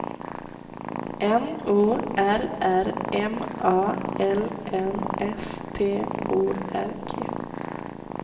N O R R M A L M S T O R G